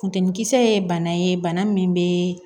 Funteni kisɛ ye bana ye bana min bɛ